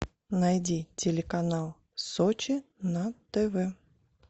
найди телеканал сочи на тв